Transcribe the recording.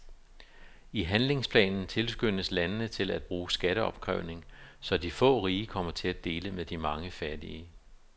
I handlingsplanen tilskyndes landene til at bruge skatteopkrævning, så de få rige kommer til at dele med de mange fattige.